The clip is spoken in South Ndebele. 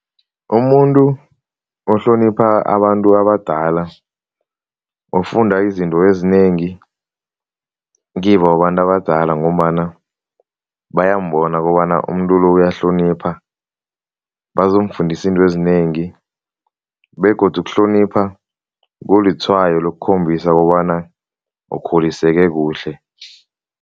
Umuntu ohlonipha abantu abadala ufunda izinto ezinengi kibo abantu abadala ngombana bayambona kobana umuntu lo uyahlonipha. Bazomfundisa into ezinengi begodu ukuhlonipha kulitshwayo lokukhombisa kobana ukhuliseke kuhle.